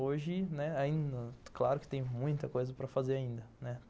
Hoje, né, ainda, claro que tem muita coisa para fazer ainda, né.